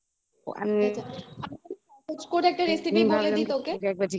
সহজ করে একটা recipe বলে দিই তোকে